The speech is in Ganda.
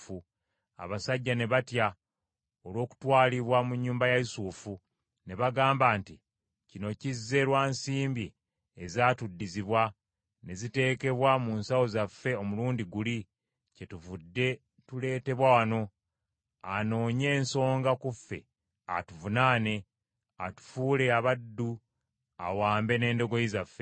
Abasajja ne batya olw’okutwalibwa mu nnyumba ya Yusufu, ne bagamba nti kino kizze lwa nsimbi ezatuddizibwa ne ziteekebwa mu nsawo zaffe omulundi guli, kyetuvudde tuleetebwa wano, anoonye ensonga ku ffe atuvunaane, atufuule abaddu awambe n’endogoyi zaffe.